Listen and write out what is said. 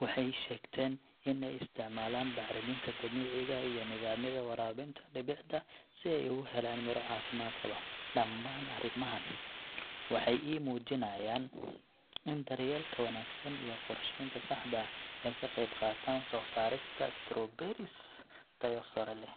waxay sheegteen in ay isticmaalaan bacriminta dabiiciga ah iyo nidaamyada waraabinta dhibicda si ay ugu helaan miro caafimaad qaba. Dhammaan arrimahan waxay ii muujiyaan in daryeelka wanaagsan iyo qorsheynta saxda ah ay ka qeyb qaataan soo saarista strawberries tayo sare leh.